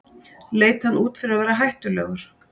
Leit hann út fyrir að vera hættulegur?